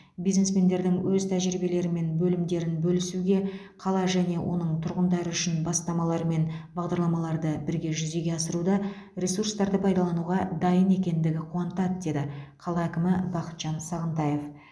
бизнесмендердің өз тәжірибелері мен бөлімдерін бөлісуге қала және оның тұрғындары үшін бастамалар мен бағдарламаларды бірге жүзеге асыруда ресурстарды пайдалануға дайын екендігі қуантады деді қала әкімі бақытжан сағынтаев